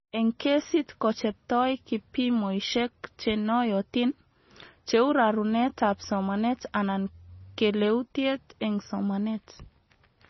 Eng kesit kobchetoi kipimoishek chenoyotin, cheu rarunetab somanet anan keleutiet eng somanet